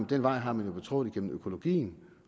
den vej har man jo betrådt igennem økologien